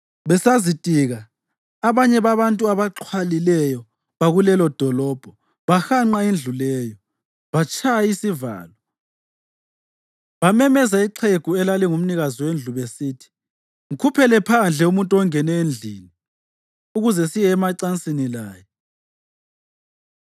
Besazitika, abanye babantu abaxhwalileyo bakulelodolobho bahanqa indlu leyo. Batshaya isivalo, bamemeza ixhegu elalingumnikazi wendlu besithi, “Mkhuphele phandle umuntu ongene endlini ukuze siye emacansini laye.”